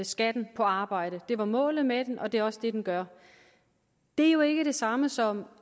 skatten på arbejde det var målet med den og det er også det den gør det er jo ikke det samme som